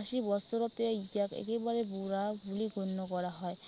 আশী বছৰতে ইয়াক একেবাৰে বুঢ়া বুলি গণ্য় কৰা হয়।